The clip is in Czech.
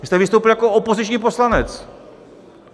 Vy jste vystoupil jak opoziční poslanec!